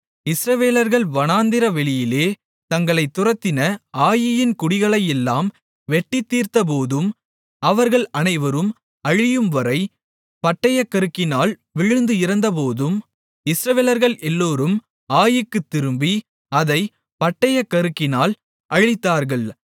இஸ்ரவேலர்கள் வனாந்திரவெளியிலே தங்களைத் துரத்தின ஆயீயின் குடிகளையெல்லாம் வெட்டித் தீர்ந்தபோதும் அவர்கள் அனைவரும் அழியும்வரை பட்டயக்கருக்கினால் விழுந்து இறந்தபோதும் இஸ்ரவேலர்கள் எல்லோரும் ஆயீக்குத் திரும்பி அதைப் பட்டயக்கருக்கினால் அழித்தார்கள்